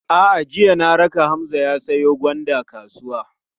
A'a, jiya na raka Hamza ya siyo gwanda kasuwa.